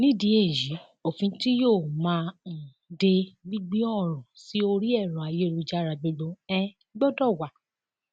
nídìí èyí òfin tí yóò máa um de gbígbé ọrọ sí orí ẹrọ ayélujára gbogbo um gbọdọ wà